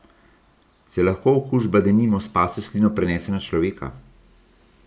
Se lahko okužba denimo s pasjo slino prenese na človeka?